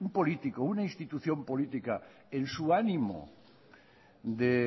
político una institución política en su ánimo de